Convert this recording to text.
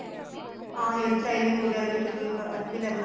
ਹਾਂ hairstyle ਵਗੈਰਾ ਵੀ ਚਲੋ ਇੱਕ ਅੱਛੇ level ਤੇ